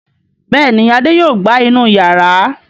Bẹ́ẹ̀ ni, Adé yóò gbá inú ìyàrá.